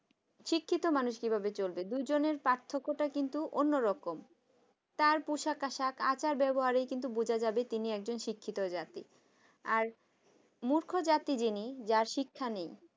শিক্ষিত মানুষ কিভাবে চলবে দুজনের পার্থক্যটা কিন্তু অন্যরকম তার পোশাক আশাক আচার ব্যবহারে বোঝা যাবে তিনি একজন শিক্ষিত জাতি। আর মূর্খ জাতি যিনি যার শিক্ষা নেই